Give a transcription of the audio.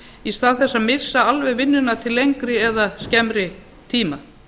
í stað þess að missa alveg vinnuna til lengri eða skemmri tíma